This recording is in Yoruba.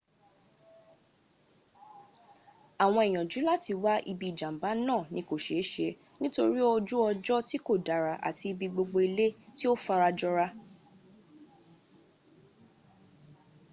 àwọn ìyànjú láti wá ibi ìjàmba náà ni kò ṣeése nítorí ojú ọjọ́ ti ko dára àti ibi gbogbo ilẹ̀ tí ò farajọra